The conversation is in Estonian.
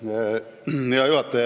Hea juhataja!